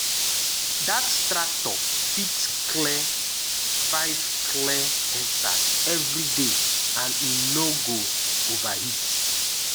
that tractor fit clear five clear hectares every day and e no go overheat